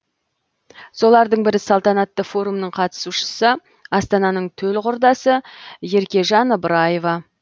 солардың бірі салтанатты форумның қатысушысы астананың төл құрдасы еркежан ыбыраева